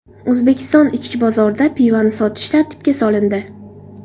O‘zbekiston ichki bozorida pivoni sotish tartibga solindi.